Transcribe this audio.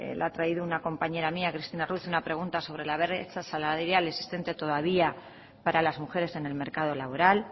lo ha traído una compañera mía cristina ruiz una pregunta sobre la brecha salarial existente todavía para las mujeres en el mercado laboral